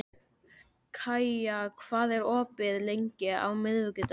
Kaía, hvað er opið lengi á miðvikudaginn?